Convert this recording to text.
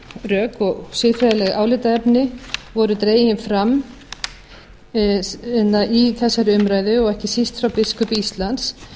rök og siðferðileg álitaefni voru dregin fram í þessari umræðu og ekki síst frá biskupi íslands